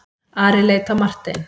Ari leit á Martein.